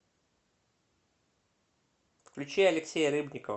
включи алексея рыбникова